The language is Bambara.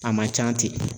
A man can ten